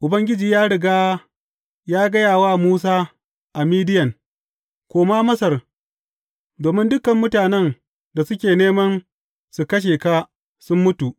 Ubangiji ya riga ya gaya wa Musa a Midiyan, Koma Masar, domin dukan mutanen da suke neman su kashe ka sun mutu.